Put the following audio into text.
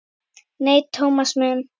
Nei, Thomas minn.